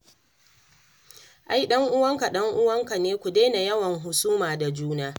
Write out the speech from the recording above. Ai ɗanuwanka, ɗanuwanka ne. Ku daina yawan husuma da juna